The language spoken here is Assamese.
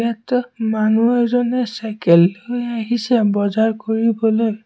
মানুহ এজনে চাইকেল লৈ আহিছে বজাৰ কৰিবলৈ।